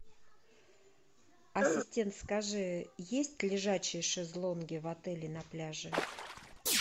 ассистент скажи есть лежачие шезлонги в отеле на пляже